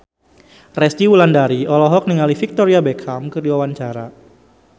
Resty Wulandari olohok ningali Victoria Beckham keur diwawancara